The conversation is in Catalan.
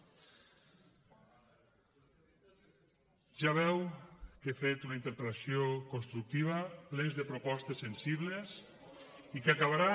ja veu que he fet una interpel·lació constructiva plena de propostes sensibles i que acabarà